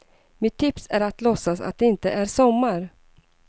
Mitt tips är att låtsas att det inte är sommar.